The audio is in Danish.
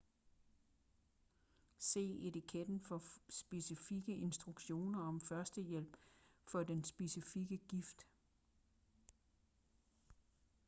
se etiketten for specifikke instruktioner om førstehjælp for den specifikke gift